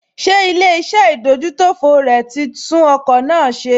Ṣé ilé-iṣẹ́ ìdójútòfò rẹ̀ tí tún ọkọ̀ náà ṣe?